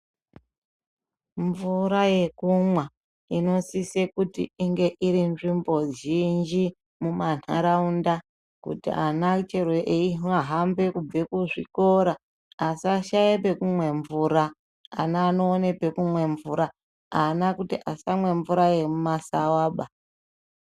Mvura yekumwa inosise kuti inge iri nzvimbo zhinji mumandaraunda kuti vana chero veihambe kubve kuzvikora asashaye pekumwe mvura vana vanoona pekumwe mvura vana kuti vasamwa mvura yemumasaaba .